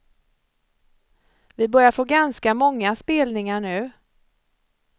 Vi börjar få ganska många spelningar nu.